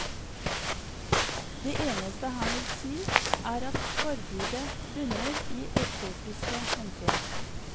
Det eneste han vil si er at forbudet bunner i estetiske hensyn.